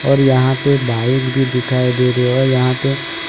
और यहां पे बाइक भी दिखाई दे रही है और यहां पे --